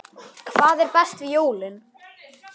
Hvað er best við jólin?